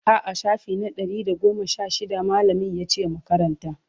a'a shafi na Ɗari da goma Sha shida mallamin yace mu Karanta